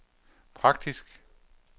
praktisk